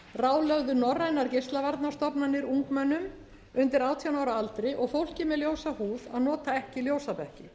ráðlögðu norrænar geislavarnastofnanir ungmennum undir átján ára aldri og fólki með ljósa húð að nota ekki ljósabekki